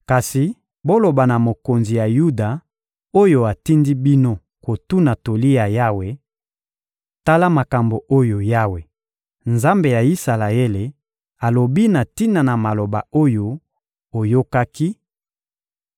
Kasi boloba na mokonzi ya Yuda oyo atindi bino kotuna toli ya Yawe: ‹Tala makambo oyo Yawe, Nzambe ya Isalaele, alobi na tina na maloba oyo oyokaki: